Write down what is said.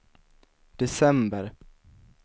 december